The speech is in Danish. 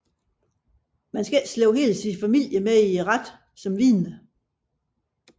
Man skal ikke slæbe hele sin familie med i retten som vidner